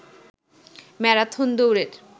marathon দৌড়ের